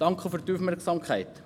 Danke für Ihre Aufmerksamkeit.